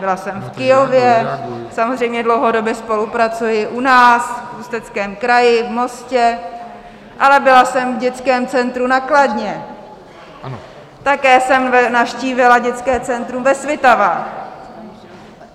Byla jsem v Kyjově, samozřejmě dlouhodobě spolupracuji u nás v Ústeckém kraji, v Mostě, ale byla jsem v dětském centru na Kladně, také jsem navštívila dětské centrum ve Svitavách.